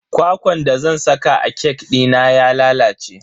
Kwakwan da zan saka a kek dina ya lalace.